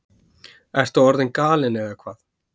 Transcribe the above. Ertu orðin galin eða hvað?